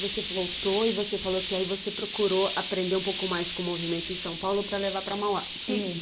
Você voltou e você falou que aí você procurou aprender um pouco mais com o movimento em São Paulo para levar para Mauá. Isso.